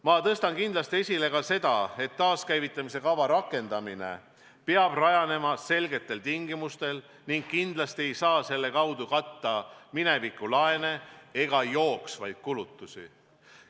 Ma tõstan kindlasti esile ka seda, et taaskäivitamise kava rakendamine peab rajanema selgetel tingimustel ning kindlasti ei saa selle kaudu katta mineviku laene ega jooksvaid kulutusi.